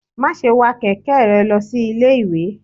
ma sé wa kẹkẹ rẹ losí Ilé ìwè!